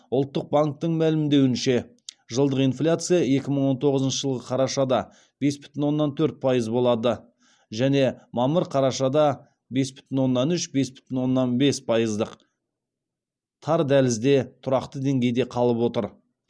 ұлттық банктің мәлімдеуінше жылдық инфляция екі мың он тоғызыншы жылғы қарашада бес бүтін оннан төрт пайыз болады және мамыр қарашада бес бүтін оннан үш бес бүтін оннан бес пайыздық тар дәлізде тұрақты деңгейде қалып отыр